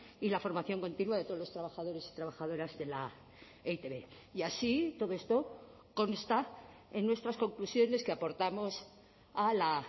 y la formación continua de todos los trabajadores y trabajadoras de la e i te be y así todo esto consta en nuestras conclusiones que aportamos a la